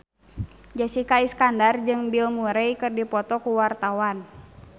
Jessica Iskandar jeung Bill Murray keur dipoto ku wartawan